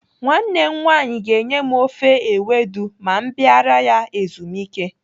Nwanne m nwaanyị ga-enye m ofe ewedu ma m bịara ya ezumike.